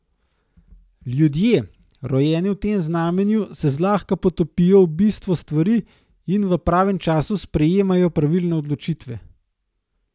Ljudje, rojeni v tem znamenju, se zlahka potopijo v bistvo stvari in v pravem času sprejemajo pravilne odločitve.